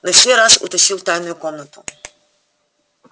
на сей раз утащил в тайную комнату